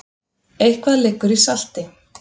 Eitthvað liggur í salti